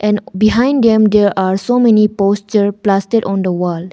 And behind them there are so many posters pasted on the wall.